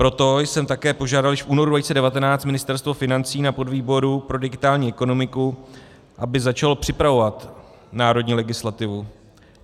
Proto jsem taky požádal již v únoru 2019 Ministerstvo financí na podvýboru pro digitální ekonomiku, aby začalo připravovat národní legislativu.